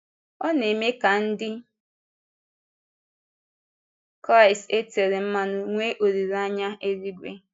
Ọ na-eme ka Ndị Kraịst e tére mmanụ nwee olileanya élúìgwé.